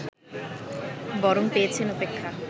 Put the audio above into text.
বরং পেয়েছেন উপেক্ষা